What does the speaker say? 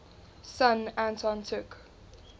son anton took